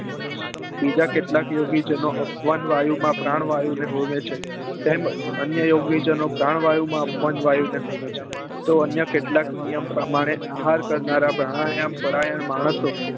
બીજા કેટલાક યોગી જેનો અપવ્ન વાયુ માં પ્રાણ વાયુ ને હોમે છે તેમજ અન્ય યોગી જનો પ્રાણ વાયુ માં અપવ્ન વાયુ માં હોમે છે તો અન્ય કેટલાક નિયમ પ્રમાણે આહાર કરનારા પ્રાણાયામ પારાયણ કરનારા માણસો